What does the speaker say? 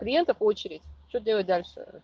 клиентов очередь что делать дальше